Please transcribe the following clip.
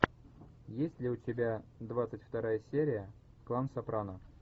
есть ли у тебя двадцать вторая серия клан сопрано